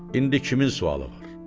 İndi kimin sualı var?